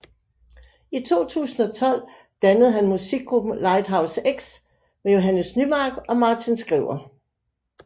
I 2012 dannede han musikgruppen Lighthouse X med Johannes Nymark og Martin Skriver